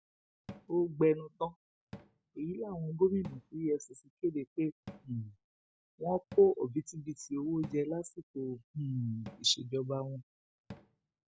ó gbẹnu tán èyí láwọn gómìnà tí efcc kéde pé um wọn kó òbítíbitì owó jẹ lásìkò um ìsejọba wọn